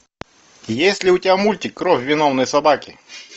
есть ли у тебя мультик кровь виновной собаки